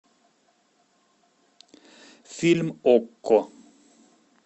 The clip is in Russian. фильм окко